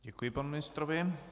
Děkuji panu ministrovi.